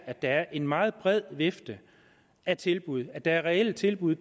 er en meget bred vifte af tilbud at der er reelle tilbud